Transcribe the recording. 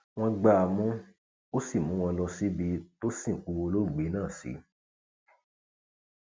wọn gbá a mú ó sì mú wọn lọ síbi tó sìnkú olóògbé náà sí